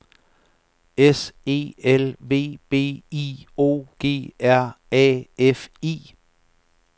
S E L V B I O G R A F I